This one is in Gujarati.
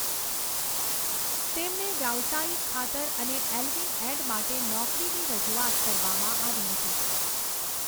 તેમને વ્યવસાયિક ખાતર અને એલ્વિન એડ માટે નોકરીની રજૂઆત કરવામાં આવી હતી.